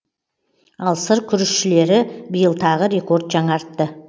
ал сыр күрішшілері биыл тағы рекорд жаңартты